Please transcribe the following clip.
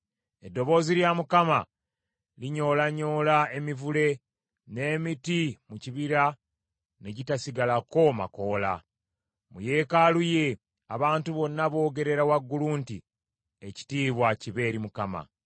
Eddoboozi lya Mukama linyoolanyoola emivule, n’emiti mu bibira ne gitasigalako makoola. Mu Yeekaalu ye, abantu bonna boogerera waggulu nti, “Ekitiibwa kibe eri Mukama !”